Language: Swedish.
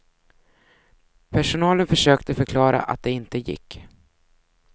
Personalen försökte förklara att det inte gick.